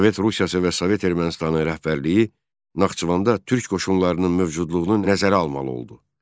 Sovet Rusiyası və Sovet Ermənistanı rəhbərliyi Naxçıvanda türk qoşunlarının mövcudluğunu nəzərə almalı oldu.